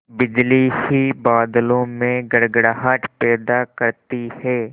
बिजली ही बादलों में गड़गड़ाहट पैदा करती है